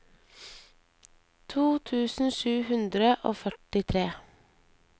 to tusen sju hundre og førtitre